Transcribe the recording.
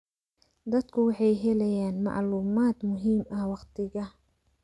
Dadku waxay helayaan macluumaad muhiim ah waqtiga.